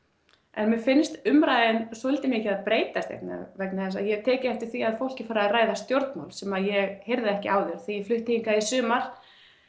en mér finnst umræðan svolítið mikið að breytast vegna þess að ég eftir því að fólk er farið að ræða stjórnmál sem ég heyrði ekki áður því þegar ég flutti hingað í sumar